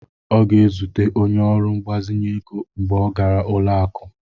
Ọ ga-ezute onye ọrụ mgbazinye ego mgbe ọ gara ụlọ akụ.